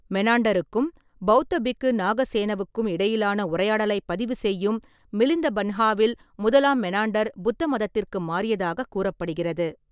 மெனாண்டருக்கும் பௌத்த பிக்கு நாகசேனவுக்கும் இடையிலான உரையாடலைப் பதிவு செய்யும் மிலிந்த பன்ஹாவில் முதலாம் மெனாண்டர் புத்தமதத்திற்கு மாறியதாகக் கூறப்படுகிறது.